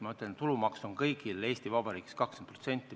Ma ütlesin, et tulumaks on kõigil Eesti Vabariigis 20%.